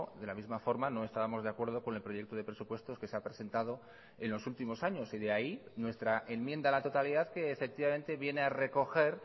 de la misma forma no estábamos de acuerdo con el proyecto de presupuestos que se ha presentado en los últimos años y de ahí nuestra enmienda a la totalidad que efectivamente viene a recoger